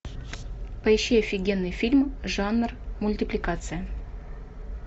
поищи офигенный фильм жанр мультипликация